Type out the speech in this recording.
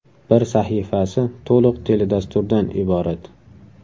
Bir sahifasi to‘liq teledasturdan iborat.